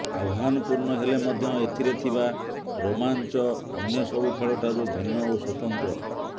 ଆହ୍ବାନପୂର୍ଣ୍ଣ ହେଲେ ମଧ୍ୟ ଏଥିରେ ଥିବା ରୋମାଞ୍ଚ ଅନ୍ୟ ସବୁ ଖେଳଠାରୁ ଭିନ୍ନ ଓ ସ୍ୱତନ୍ତ୍ର